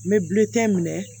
N bɛ bilikɛ minɛ